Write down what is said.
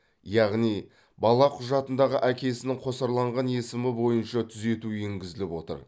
яғни бала құжатындағы әкесінің қосарланған есімі бойынша түзету енгізіліп отыр